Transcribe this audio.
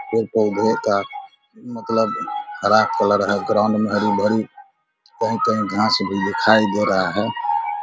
पेड़-पौधे का मतलब हरा कलर है। ग्राउंड में हरी-भरी कहीं-कहीं घास भी दिखाई दे रहा है।